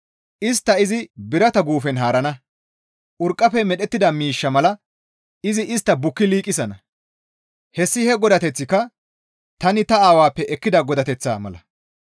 Istta izi birata guufen haarana; urqqafe medhettida miishsha mala izi istta bukki liiqisana. Hessi he godateththika tani ta Aawappe ekkida godateththaa mala.